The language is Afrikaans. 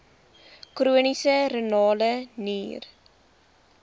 chroniese renale nier